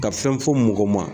Ka fɛn fɔ mɔgɔ ma